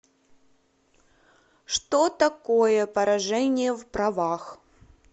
что такое поражение в правах